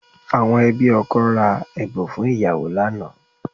Àwọn ẹbí ọkọ ra ẹ̀bùn fún ìyàwó lánàá